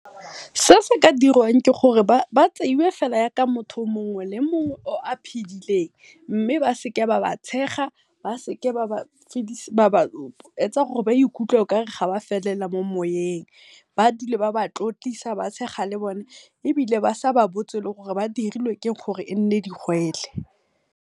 Se seka diriwang ke gore ba tseiwe jaaka mongwe le mongwe o a phidileng mme baseka ba ba tshega, ba seka ba ba etsa okare ba ikutlwa okare ga ba felela mo moyeng, ba dule ba ba tlotlisa, ba tshega le bone ebile ba sa ba botse gore ba dirilwe ke eng gore e nne digole.